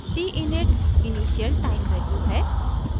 t init initial time value है